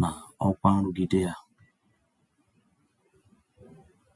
na ọkwa nrụgide ya.